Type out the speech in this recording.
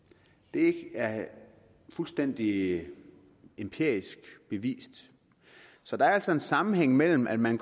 det er fuldstændig empirisk bevist så der er altså en sammenhæng mellem at man